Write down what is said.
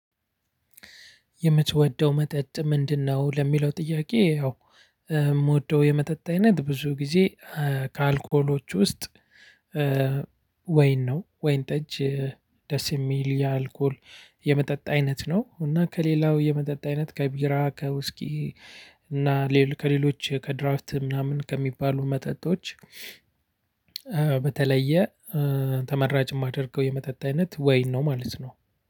የምትወደው መጠጥ ምንድነው? ለሚለው ጥያቄ ያው የምወደው የመጠጥ አይነት ብዙ ጊዜ ከአልኮሎች ውስጥ ወይን ነው ወይን ጠጅ። ደስ የሚል የአልኮል የመጠጥ አይነት ነው። እና ከሌላው የመጠጥ አይነት ከቢራ ከውስኪ እና ከሌሎች ከድራፍት ምናምን ከሚባሉ መጠጦች። በተለየ ተመራጭ የማደርገው የመጠጥ አይነት ወይን ነው ማለት ነው።